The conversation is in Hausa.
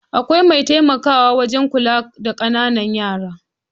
Akwai mai taimakawa wajan kula da ƙanana yara